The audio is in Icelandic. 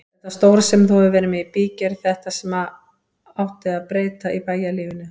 Þetta stóra sem þú hefur verið með í bígerð, þetta sem átti að breyta bæjarlífinu.